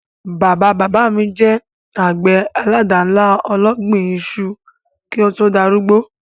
Bàbá-bàbá mi je àgbè àládànlá ológbin isu ki o to darúgbó